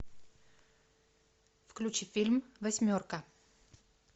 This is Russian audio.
включи фильм восьмерка